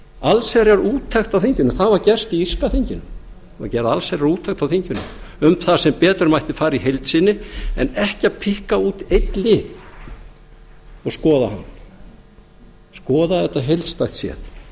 allsherjarúttekt á þinginu það var gert í írska þinginu það var gerð allsherjarúttekt á þinginu um það sem betur mætti fara í heild sinni en ekki að pikka út einn lið og skoða hann skoða þetta heildstætt séð